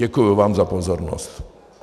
Děkuji vám za pozornost.